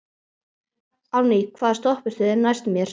Árný, hvaða stoppistöð er næst mér?